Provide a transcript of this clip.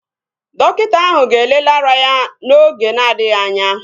Dọkịta ahụ ga-elele ara ya n'oge na-adịghị anya